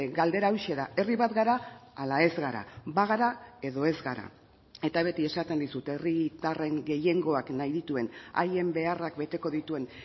galdera hauxe da herri bat gara ala ez gara bagara edo ez gara eta beti esaten dizut herritarren gehiengoak nahi dituen haien beharrak beteko dituen